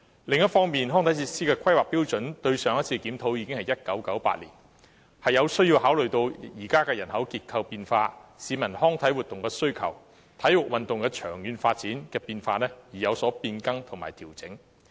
另一方面，上次檢討康體設施的規劃準則已是1998年的事，因此有需要考慮現時人口結構的變化、市民對康體活動的需求，以及體育運動長遠發展的變化，作出變更及調整。